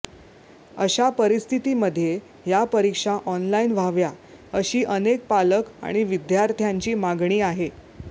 अशा परिस्थितीमध्ये या परीक्षा ऑनलाईन व्हाव्या अशी अनेक पालक आणि विद्यार्थ्यांची मागणी आहे